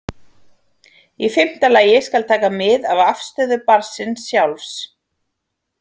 Í fimmta lagi skal taka mið af afstöðu barnsins sjálfs.